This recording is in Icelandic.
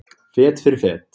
Fet fyrir fet.